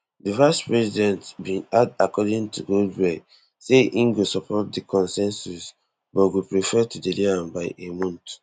di vicepresident bin add according to goldberg say im go support di consensus but go prefer to delay am by a month